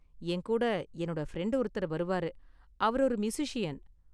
என் கூட என்னோட ஃப்ரெண்ட் ஒருத்தர் வருவாரு, அவர் ஒரு மியூசிஸியன்.